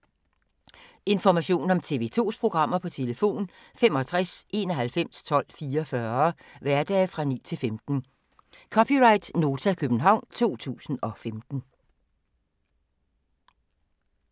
Information om TV 2's programmer: 65 91 12 44, hverdage 9-15.